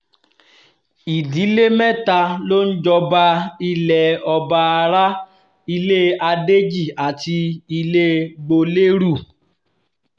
ìdílé mẹ́ta ló ń jọba ilẹ̀ ọbaará ilé adéjì àti ilé gbolérù